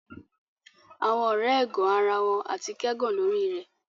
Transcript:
Awọn ọrẹ ẹgan ara wọn ati kẹgàn lori rẹ